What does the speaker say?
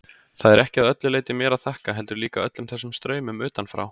Það er ekki að öllu leyti mér að þakka, heldur líka öllum þessum straumum utanfrá.